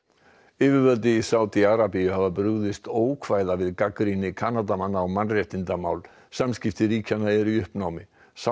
yfirvöld í Sádi Arabíu hafa brugðist ókvæða við gagnrýni Kanadamanna á mannréttindamál samskipti ríkjanna eru í uppnámi